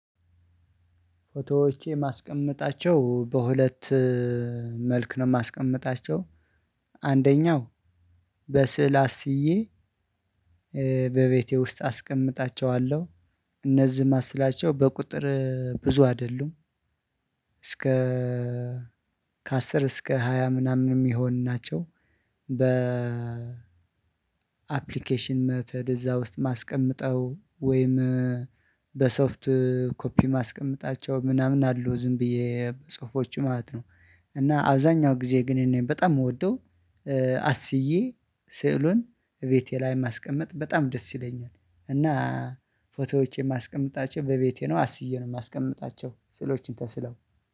ፎቶዎቼ ማስቀምጣቸው በሁለት መልክ ነው ማስቀመጣቸው አንደኛው በስዕል አስዬ በቤቴ ውስጥ አስቀምጣቸዋለሁ። እነዚህ ማስላቸው በቁጥር ብዙ አይደሉም። እስከ ከ አስር እስከ ሃያ ምናምን የሚሆን ናቸው። በ አፕሊኬሽን መትድ እዛ ውስጥ ማስቀመጥው ወይም በሶፍት ኮፒ ማስቀመጣቸው ምናምን አሉ ዝም ብዬ ጽሁፎች ማለት ነው። እና አብዛኛው ጊዜ ግን እኔ በጣም የምወደው አስዬ ስዕሉን ቤቴ ላይ ማስቀመጥ በጣም ደስ ይለኛል። እና ፎቶዎቼን ማስቀምጣቸው በቤቴ ነው አስዬ ነው የማስቀምጣቸው ስዕሎችን ተስለው